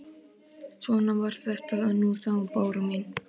Svona var þetta nú þá, Bára mín.